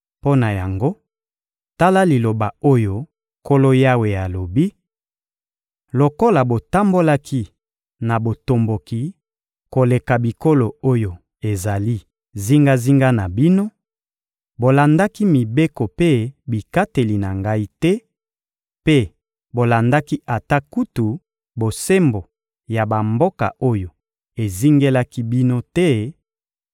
Mpo na yango, tala liloba oyo Nkolo Yawe alobi: Lokola botambolaki na botomboki koleka bikolo oyo ezali zingazinga na bino, bolandaki mibeko mpe bikateli na Ngai te mpe bolandaki ata kutu bosembo ya bamboka oyo ezingelaki bino te;